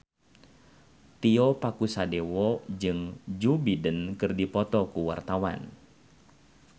Tio Pakusadewo jeung Joe Biden keur dipoto ku wartawan